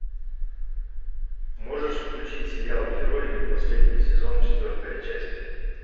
можешь включить сериал герои последний сезон четвертая часть